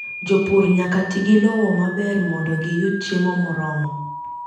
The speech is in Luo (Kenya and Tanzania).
Jopur nyaka ti gi lowo maber mondo giyud chiemo moromo.